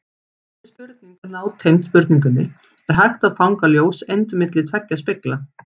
Þessi spurning er nátengd spurningunni Er hægt að fanga ljóseind milli tveggja spegla?